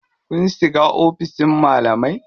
Kun shiga oficin malamai?